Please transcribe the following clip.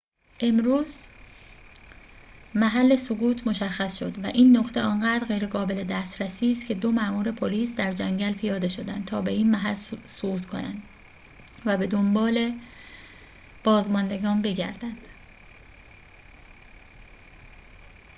امروز محل سقوط مشخص شد و این نقطه آنقدر غیرقابل دسترسی است که دو مامور پلیس در جنگل پیاده شدند تا به این محل صعود کنند و به دنبال بازماندگان بگردند